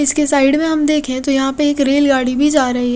इसके साइड में हम देखे तो यहाँ पे एक रेलगाड़ी भी जा रही है।